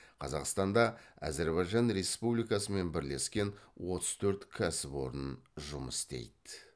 қазақстанда әзірбайжан республикасымен бірлескен отыз төрт кәсіпорын жұмыс істейді